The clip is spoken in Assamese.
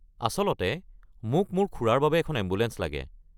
আচলতে মোক মোৰ খুৰাৰ বাবে এখন এম্বুলেঞ্চ লাগে।